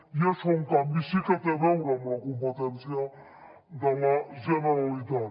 i això en canvi sí que té a veure amb la competència de la generalitat